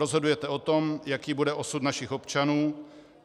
Rozhodujete o tom, jaký bude osud našich občanů.